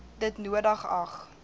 dit nodig ag